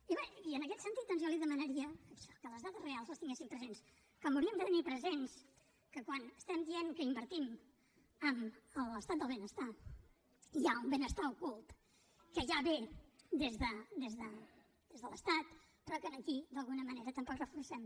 i bé en aquest sentit doncs jo li demanaria això que les dades reals les tinguessin presents com hauríem de tenir present que quan estem dient que invertim en l’estat del benestar hi ha un benestar ocult que ja ve des de l’estat però que aquí d’alguna manera tampoc reforcem